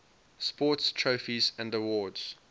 sports trophies and awards